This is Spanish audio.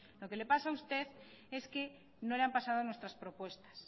lo que le pasa a usted es que no le han pasado nuestras propuestas